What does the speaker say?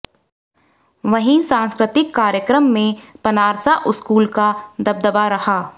वहीं सांस्कृतिक कार्यक्रम में पनारसा स्कूल का दबदबा रहा